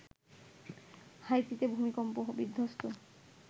হাইতিতে ভূমিকম্প বিধ্বস্ত